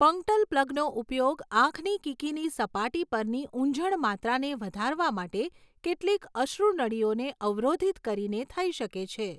Punctal પ્લગનો ઉપયોગ આંખની કીકીની સપાટી પરની ઊંઝણ માત્રાને વધારવા માટે કેટલીક અશ્રુનળીઓને અવરોધિત કરીને થઈ શકે છે.